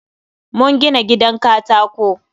Mun gina gidan katako